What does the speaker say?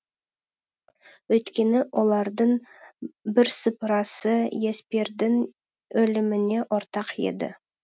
өйткені олардың бірсыпырасы еспердің өліміне ортақ еді